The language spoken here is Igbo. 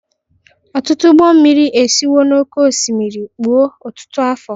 Ọtụtụ ụgbọ mmiri esiwo n'oké osimiri kpuo ọtụtụ afọ